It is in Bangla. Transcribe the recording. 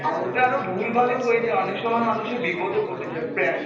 আর ওতে আরো ভুল ভালও হয়ে যায় অনেক সময় মানুষের বিপদ ও ঘটে যাই prank